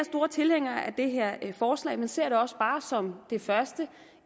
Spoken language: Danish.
tilhængere af det her forslag men ser det også bare som det første